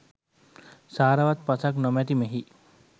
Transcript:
සාරවත් පසක් නොමැති මෙහි